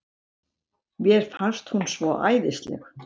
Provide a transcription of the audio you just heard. Mér fannst hún svo æðisleg.